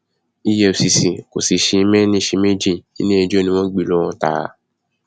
efcc kò sì ṣe méní ṣe méjì iléẹjọ ni wọn gbé e lọ tààrà